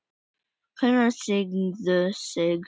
Konur signdu sig.